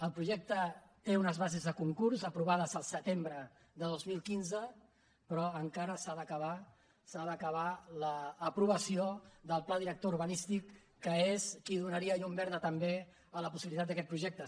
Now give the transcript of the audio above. el projecte té unes bases de concurs aprovades al setembre de dos mil quinze però encara s’ha d’acabar l’aprovació del pla director urbanístic que és el que donaria llum verda també a la possibilitat d’aquest projecte